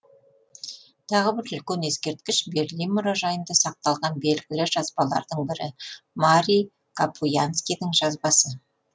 тағы бір үлкен ескерткіш берлин мұражайында сақталған белгілі жазбалардың бірі марии капуянскийдің жазбасы